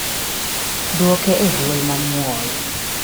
dwoke e dwol mamuol